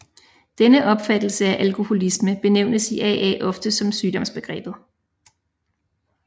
Denne opfattelse af alkoholisme benævnes i AA ofte som sygdomsbegrebet